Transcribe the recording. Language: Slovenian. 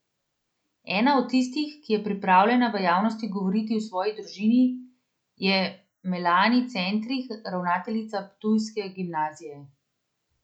Ena od tistih, ki je pripravljena v javnosti govoriti o svoji družini, je Melani Centrih, ravnateljica ptujske gimnazije.